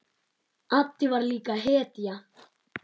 Addi var líka hetja.